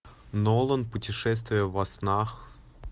нолан путешествие во снах